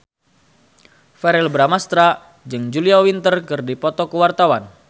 Verrell Bramastra jeung Julia Winter keur dipoto ku wartawan